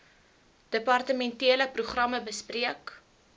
departementele programme bespreek